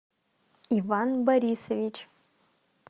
иван борисович